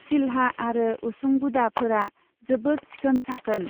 सिलहा आरो उसुंगुदाफोरा जोबोत सिखोन साखोन।